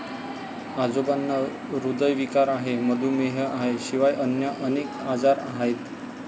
आजोबांना ह्रदयविकार आहे, मधुमेह आहे शिवाय अन्य अनेक आजार आहेत.